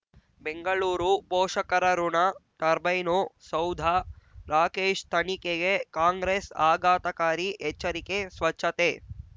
ಬೆಂಗಳೂರು ಪೋಷಕರಋಣ ಟರ್ಬೈನು ಸೌಧ ರಾಕೇಶ್ ತನಿಖೆಗೆ ಕಾಂಗ್ರೆಸ್ ಆಘಾತಕಾರಿ ಎಚ್ಚರಿಕೆ ಸ್ವಚ್ಛತೆ